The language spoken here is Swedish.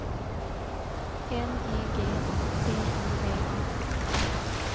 N E G A T I V A